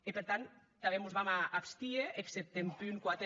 e per tant tanben mos vam a abstier exceptat en punt quatre